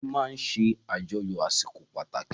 Ìdílé máa ń ṣe àjọyọ̀ àsìkò pàtàkì